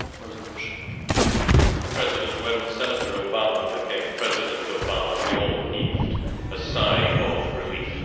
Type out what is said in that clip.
Mr President, when Senator Obama became President Obama, we all heaved a sigh of relief.